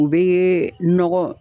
U bɛ nɔgɔ